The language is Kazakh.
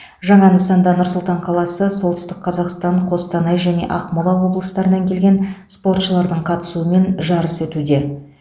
жаңа нысанда нұр сұлтан қаласы солтүстік қазақстан қостанай және ақмола облыстарынан келген спортшылардың қатысуымен жарыс өтуде